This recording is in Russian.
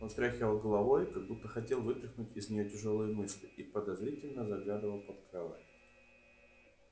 он встряхивал головой как будто хотел вытряхнуть из нее тяжёлые мысли и подозрительно заглядывал под кровать